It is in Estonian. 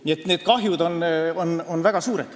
Nii et see kahju on väga suur.